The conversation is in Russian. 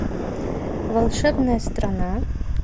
волшебная страна